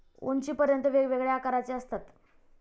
उंचीपर्यंत, वेगवेगळ्या आकारांचे असतात.